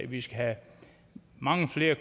vi skal have mange flere